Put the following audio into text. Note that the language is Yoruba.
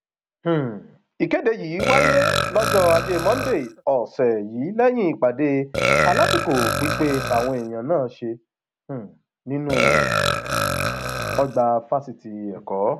um ìkéde yìí wáyé lọjọ ajé monde ọsẹ yìí lẹyìn ìpàdé alásìkò pípé táwọn èèyàn náà ṣe um nínú ọgbà fásitì ẹkọ